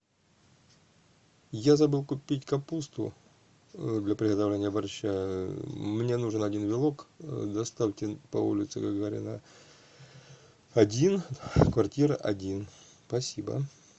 я забыл купить капусту для приготовления борща мне нужен один вилок доставьте по улице гагарина один квартира один спасибо